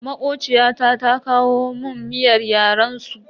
Makociyata ta kawo mun miyar yaren su.